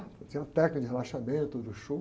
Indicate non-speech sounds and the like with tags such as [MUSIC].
Eu tinha uma técnica de relaxamento do. [UNINTELLIGIBLE]